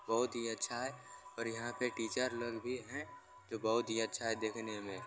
बहुत ही अच्छा है और यहां पे टीचर लोग भी है जो बहुत ही अच्छा है देखने में।